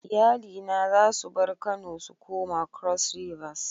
Iyali na za su bar Kano su koma cross rivers.